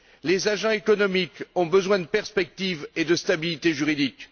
Les agents économiques ont besoin de perspectives et de stabilité juridique.